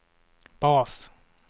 bas